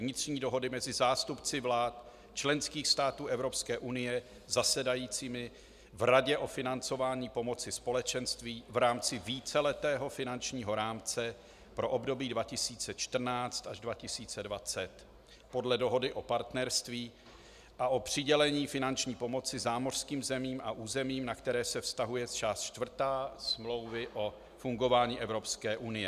Vnitřní dohody mezi zástupci vlád členských států Evropské unie zasedajícími v Radě o financování pomoci Společenství v rámci víceletého finančního rámce pro období 2014 až 2020 podle dohody o partnerství a o přidělení finanční pomoci zámořským zemím a územím, na které se vztahuje část čtvrtá Smlouvy o fungování Evropské unie.